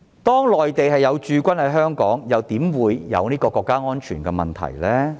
當內地有駐軍在港，又怎會有國家安全問題呢？